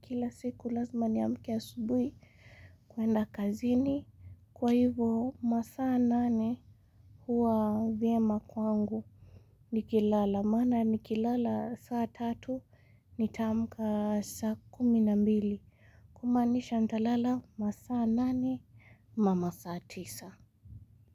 kila siku lazima niamke asubuhi kuenda kazini. Kwa hivo masaa nane huwa vyema kwangu nikilala. Maana nikilala saa tatu, nitaamka saa kumi na mbili. Kumanisha nitalala masaa nane, ama masaa tisa.